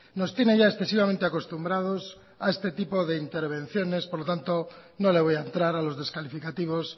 nos tiene ya excesivamente acostumbrados a este tipo de intervenciones por lo tanto no le voy a entrar a los descalificativos